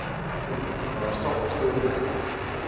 Kaðlín, hvaða stoppistöð er næst mér?